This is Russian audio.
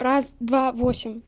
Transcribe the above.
раз-два восемь